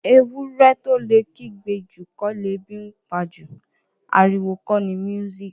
Ewúrẹ́ tó lè kígbe jù kọ́ lebi ńpa jù. Ariwo kọ ni music